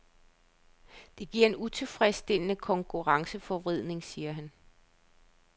Det giver en utilfredsstillende konkurrenceforvridning, siger han.